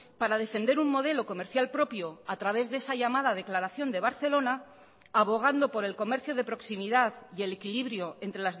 para defender un modelo comercial propio a través de esa llamada declaración de barcelona abogando por el comercio de proximidad y el equilibrio entre